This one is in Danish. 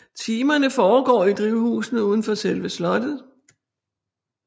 Timerne foregår i drivhusene uden for selve slottet